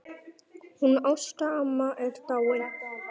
Hún Ásta amma er dáin.